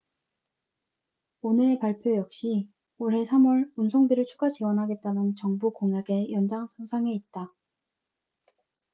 오늘의 발표 역시 올해 3월 운송비를 추가 지원하겠다는 정부 공약의 연장선상에 있다